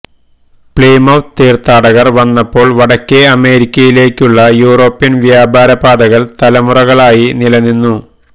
Plymouth തീർത്ഥാടകർ വന്നപ്പോൾ വടക്കേ അമേരിക്കയിലേക്കുള്ള യൂറോപ്യൻ വ്യാപാര പാതകൾ തലമുറകളായി നിലനിന്നു